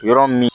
Yɔrɔ min